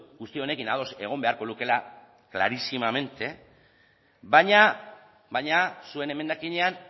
guzti honekin ados egon beharko lukeela clarísimamente baina zuen emendakinean